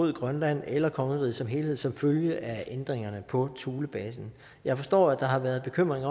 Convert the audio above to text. mod grønland eller kongeriget som helhed som følge af ændringerne på thulebasen jeg forstår at der har været bekymring